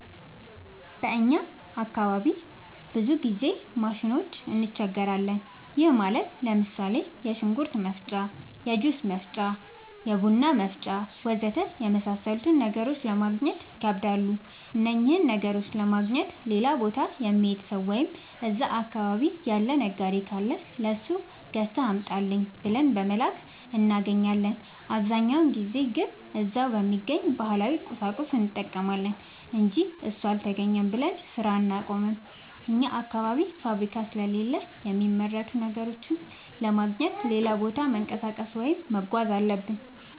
በእኛ አካባቢ ብዙ ጊዜ ማሽኖች እንቸገራለን። ይህም ማለት ለምሳሌ፦ የሽንኩርት መፍጫ፣ የጁስ መፍጫ፣ የቡና መፍጫ.... ወዘተ የመሣሠሉትን ነገሮች ለማገግኘት ይከብዳሉ። እነኝህን ነገሮች ለማግኘት ሌላ ቦታ የሚሄድ ሠው ወይም እዛ አካባቢ ያለ ነጋዴ ካለ ለሱ ገዝተህ አምጣልኝ ብለን በመላክ እናገኛለን። አብዛኛውን ጊዜ ግን እዛው በሚገኝ ባህላዊ ቁሳቁስ እንጠቀማለን አንጂ እሱ አልተገኘም ብለን ስራ አናቆምም። አኛ አካባቢ ፋብሪካ ስለሌለ የሚመረቱ ነገሮችን ለማግኘት ሌላ ቦታ መንቀሳቀስ ወይም መጓዝ አለብን።